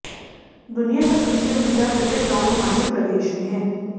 दुनिया का सबसे ऊंचा क्रिकेट ग्राउंड हिमाचल प्रदेश में है